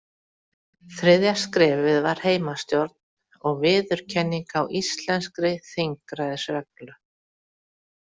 Þriðja skrefið var heimastjórn og viðurkenning á íslenskri þingræðisreglu.